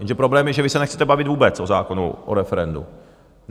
Jenže problém je, že vy se nechcete bavit vůbec o zákonu o referendu.